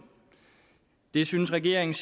det syntes regeringen